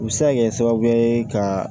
U bɛ se ka kɛ sababu ye ka